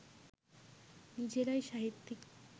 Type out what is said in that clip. নিজেরাই সাহিত্যিক